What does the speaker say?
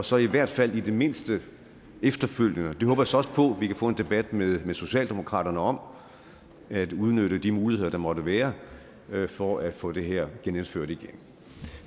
så i hvert fald i det mindste efterfølgende det håber jeg så også på kan få en debat med socialdemokraterne om at udnytte de muligheder der måtte være for at få det her genindført